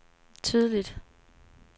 tydeligt